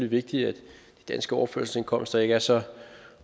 vigtigt at de danske overførselsindkomster ikke er så